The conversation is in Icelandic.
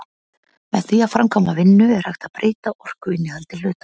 Með því að framkvæma vinnu er hægt að breyta orkuinnihaldi hluta.